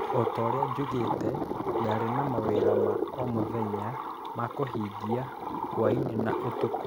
O ta ũrĩa njugìte, ndaarĩ na mawĩra ma o mũthenya ma kũhingia hwaĩ-inĩ na ũtukũ